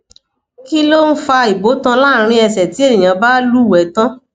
kilon fa ibotan larin ese ti eniyan ba luwe tan